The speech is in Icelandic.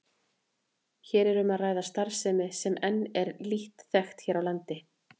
Hér er um að ræða starfsemi sem enn er lítt þekkt hér á landi.